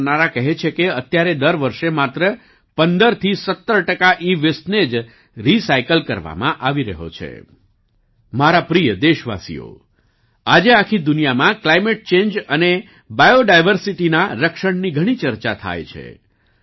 મારા પ્રિય દેશવાસીઓ આજે આખી દુનિયામાં ક્લાઈમેટ ચેન્જ અને બાયોડાયર્સિટીના રક્ષણની ઘણી ચર્ચા થાય છે